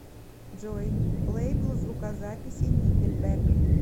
джой лейбл звукозаписи никельбэк